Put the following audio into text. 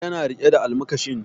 Yana riƙe da almakashin